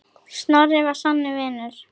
Snorri var sannur vinur.